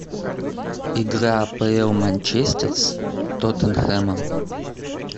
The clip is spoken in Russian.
игра апл манчестер с тоттенхэмом